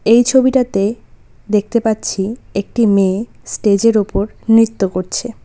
এই ছবিটাতে দেখতে পাচ্ছি একটি মেয়ে স্টেজের ওপর নৃত্য করছে।